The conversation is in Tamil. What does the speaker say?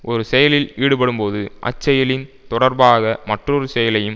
ஒரு செயலில் ஈடுபடும்போது அச்செயலின் தொடர்பாக மற்றொரு செயலையும்